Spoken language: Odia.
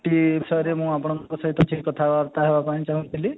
ଟି ବିଷୟରେ ମୁଁ ଆପଣଙ୍କ ସହିତ ଟିକେ କଥା ବାର୍ତ୍ତା ହେବ ପାଇଁ ଚାହୁଁଥିଲି